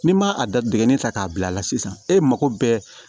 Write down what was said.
N'i ma a dadigi ta k'a bila a la sisan e mako bɛ